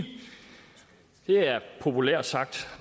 det er populært sagt